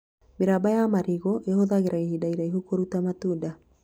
Mĩramba ya marigũ ĩhũthagĩra ihinda iraihu kũruta matunda